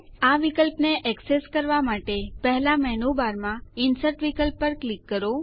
આ વિકલ્પને એક્સેસ કરવા માટે પહેલા મેનૂબારમાં ઇન્સર્ટ વિકલ્પ પર ક્લિક કરો